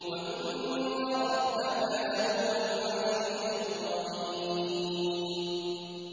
وَإِنَّ رَبَّكَ لَهُوَ الْعَزِيزُ الرَّحِيمُ